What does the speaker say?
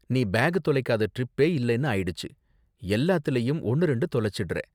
நீ பேக் தொலைக்காத டிரிப்பே இல்லைன்னு ஆயிடுச்சு. எல்லாத்துலயும் ஒன்னு ரெண்டு தொலைச்சுடுறே.